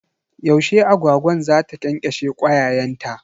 Yaushe agwagwan za ta ƙyanƙyashe kwayayenta?